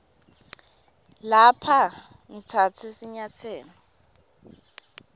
lapha ngitsatse sinyatselo